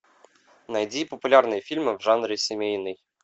найди популярные фильмы в жанре семейный